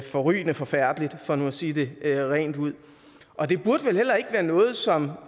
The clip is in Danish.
forrygende forfærdeligt for nu at sige det rent ud og det burde vel heller ikke være noget som